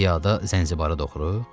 Piyada Zənzibara doğru?